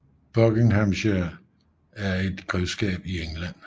Buckinghamshire er et grevskab i England